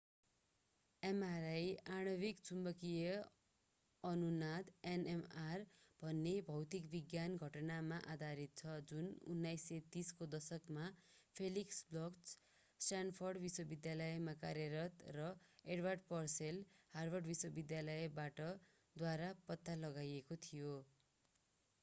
mri आणविक चुम्बकीय अनुनाद nmr भन्ने भौतिक विज्ञान घटनामा आधारित छ जुन 1930 को दशकमा felix bloch स्ट्यानफोर्ड विश्वविद्यालयमा कार्यरत र edward purcell हार्वर्ड विश्वविद्यालयबाट द्वारा पत्ता लगाइएको थियो।